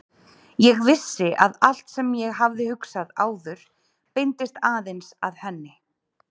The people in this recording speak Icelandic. Ég vissi að allt sem ég hafði hugsað áður beindist aðeins að henni.